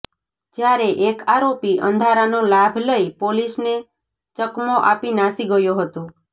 જ્યારે એક આરોપી અંધારાનો લાભ લઈ પોલીસને ચકમો આપી નાસી ગયો હતો